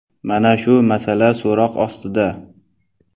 Mana shu masala so‘roq ostida.